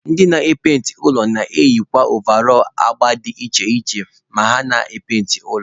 Ndị na-epainti ụlọ na-eyikwa ovarọl agba dị iche iche ma ha na-epainti ụlọ.